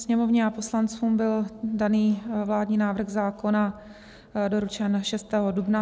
Sněmovně a poslancům byl daný vládní návrh zákona doručen 6. dubna.